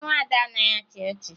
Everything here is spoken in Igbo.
Nwa Ada anaghị achị ọchị